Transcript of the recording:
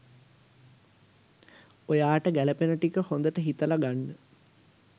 ඔයාට ගැලපෙන ටික හොඳට හිතල ගන්න.